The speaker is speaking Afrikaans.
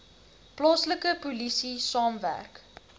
plaaslike polisie saamwerk